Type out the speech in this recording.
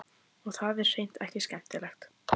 Og það er hreint ekki skemmtilegt.